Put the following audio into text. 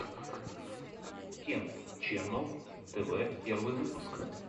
кент ченнал тв первый выпуск